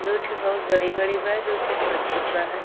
दुठो बहुत बड़ी बड़ी बा। दुठो छोट छोट बा हय।